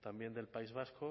también del país vasco